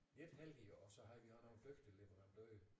Lidt heldige og så havde også nogle dygtige leverandører